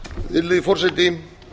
virðulegi forseti